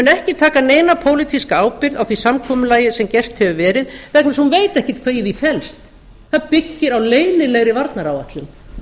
mun ekki taka neina pólitíska ábyrgð á því samkomulagi sem gert hefur verið vegna þess að hún veit ekkert hvað í því felst það byggir á leynilegri varnaráætlun